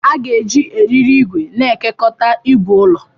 A ga-eji eriri igwe na-ekekọta igwe ulọ.